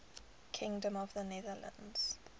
kingdom of the netherlands